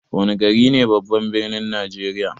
Wana gari ne babban birnin najeriya?